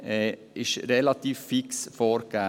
Dies ist relativ fix vorgegeben.